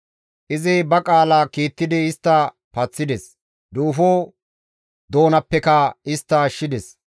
Izi ba qaala kiittidi istta paththides; duufo doonappeka istta ashshides.